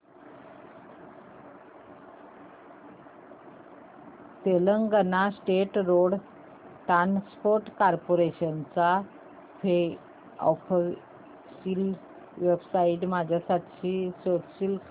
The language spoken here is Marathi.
Telangana state road transport corporation ची ऑफिशियल वेबसाइट माझ्यासाठी शोधशील का